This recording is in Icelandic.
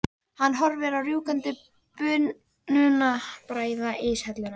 Hann horfir á rjúkandi bununa bræða íshelluna.